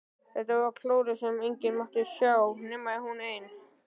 Þetta var klórið sem enginn mátti sjá nema hún ein!